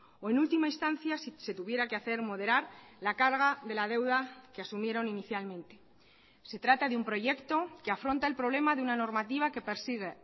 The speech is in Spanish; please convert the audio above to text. o en última instancia si se tuviera que hacer moderar la carga de la deuda que asumieron inicialmente se trata de un proyecto que afronta el problema de una normativa que persigue